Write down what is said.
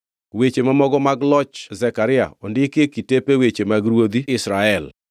Weche mamoko mag loch Zekaria ondiki e kitepe weche mag ruodhi Israel.